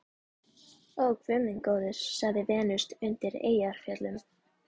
Ó, guð minn góður, sagði Venus undan Eyjafjöllum.